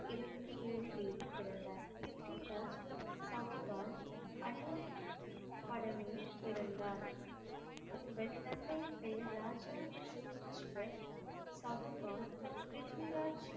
இருபத்து ஏழு தேதி பிறந்தார். ப்ரித்விராஜ் சவுகான் அந்நிய படலில் பிறந்தார். இவரின் தந்தையின் பெயர் ராஜா சோமேஷ்வர் சவுகான் ப்ரித்விராஜ்